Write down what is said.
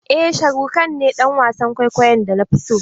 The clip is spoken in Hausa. Eh sharukh khan ne dan wasan kwaikwayon da nafi so.